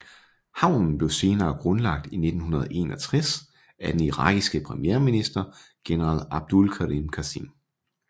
Havnen blev senere grundlagt i 1961 af den irakiske premierminister general Abdul Karim Qassim